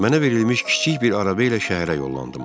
Mənə verilmiş kiçik bir araba ilə şəhərə yollandım.